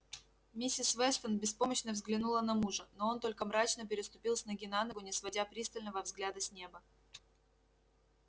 миссис вестон беспомощно взглянула на мужа но он только мрачно переступил с ноги на ногу не сводя пристального взгляда с неба